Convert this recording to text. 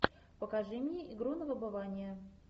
покажи мне игру на выбывание